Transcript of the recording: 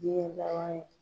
Jiyɛn laban ye